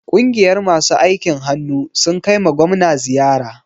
Ƙungiyar masu aikin hannu sun kaima gwamna ziyara.